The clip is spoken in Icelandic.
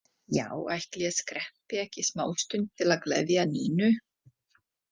Já, ætli ég skreppi ekki smástund til að gleðja Nínu.